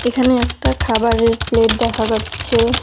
এখানে একটা খাবারের প্লেট দেখা যাচ্ছে।